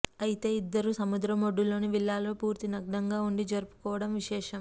అయితే ఇద్దరు సముద్రం ఒడ్డులోని విల్లాలో పూర్తి నగ్నంగా ఉండి జరుపుకోవడం విశేషం